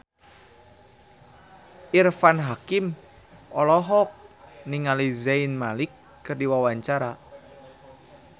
Irfan Hakim olohok ningali Zayn Malik keur diwawancara